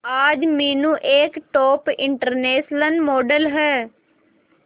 आज मीनू एक top international model है